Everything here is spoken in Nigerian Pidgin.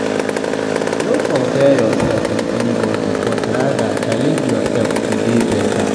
No compare yourself with anybody but rather challenge yourself to dey better